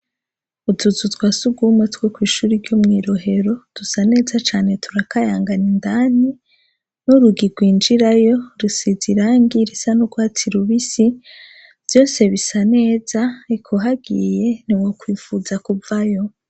Utuzu twasugwumwe twokw'ishure ryomwirohero dusa neza cane; turakayangana indani n'urugi gwinjirayo rusize irangi risa n'ugwatsi rubisi; vyose bisa neza eka uhagiye ntiwokwipfuza kuvayo.